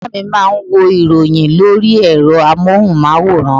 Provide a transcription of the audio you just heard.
Bàbá mi má a nwo ìròyìn lórí ẹ̀rọ amóhunmáwòrán